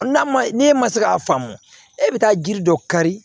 N'a ma ne ma se k'a faamu e bɛ taa jiri dɔ kari